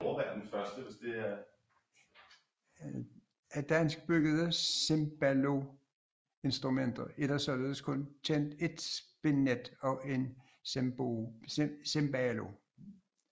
Af danskbyggede cembaloinstrumenter er der således kun kendt et spinet og et cembalo